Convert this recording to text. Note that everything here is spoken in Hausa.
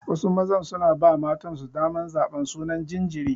Wasu mazan suna ba matansu daman zaban sunan jinjiri.